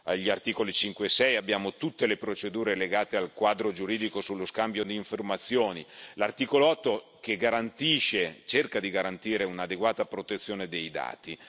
Gli articoli 5 e 6 prevedono tutte le procedure legate al quadro giuridico sullo scambio di informazioni e l'articolo 8 cerca di garantire un'adeguata protezione dei dati.